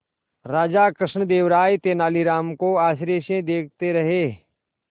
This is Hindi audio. राजा कृष्णदेव राय तेनालीराम को आश्चर्य से देखते रहे